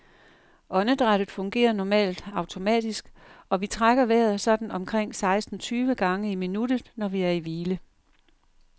Åndedrættet fungerer normalt automatisk, og vi trækker vejret sådan omkring seksten tyve gange i minuttet, når vi er i hvile.